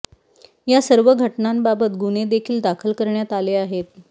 या सर्व घटनांबाबत गुन्हे देखील दाखल करण्यात आले आहेत